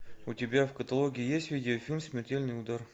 у тебя в каталоге есть видеофильм смертельный удар